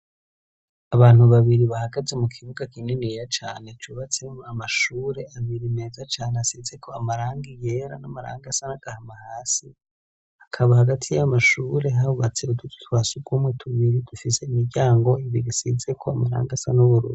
Abantu babiri bahagaze mu kibuga kininiya cane cubatsemwo amashure abiri meza cane asize ko amarangi yera n'amarangi asa n'agahama hasi. Hakaba hagati y'amashure hubatse utuzu twa sugumwe tubiri dufise imiryango ibiri isize ko amaranga asa n'ubururu.